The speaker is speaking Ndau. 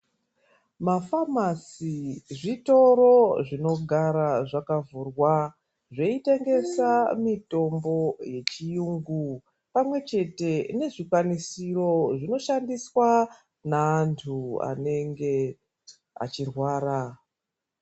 Mafamasi zvitoro zvinogara zvakavhurwa zveitengesa mitombo yechirungu pamwe chete nezvikwanisiro zvinoshandiswa neantu anenge achirwara.